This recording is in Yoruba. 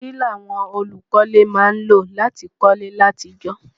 Kílàwon olùkọ́lé má n lò láti kólé látijọ́